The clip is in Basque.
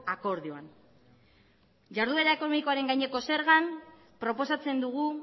akordioan jarduera ekonomikoaren gaineko zergan proposatzen dugu